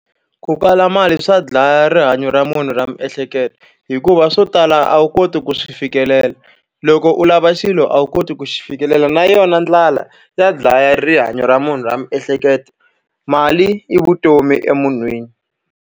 Ku kala mali swa dlaya rihanyo ra munhu ra miehleketo, hikuva swo tala a wu koti ku swi fikelela. Loko u lava xilo a wu koti ku xi fikelela. Na yona ndlala ya dlaya rihanyo ra munhu ra miehleketo, mali i vutomi emunhwini.